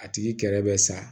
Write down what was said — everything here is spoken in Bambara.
A tigi kɛrɛ bɛ sa